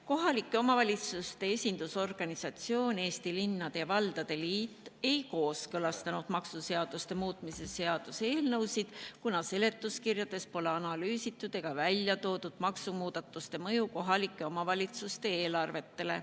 Kohalike omavalitsuste esindusorganisatsioon Eesti Linnade ja Valdade Liit ei kooskõlastanud maksuseaduste muutmise seaduse eelnõusid, kuna seletuskirjades pole analüüsitud ega välja toodud maksumuudatuste mõju kohalike omavalitsuste eelarvetele.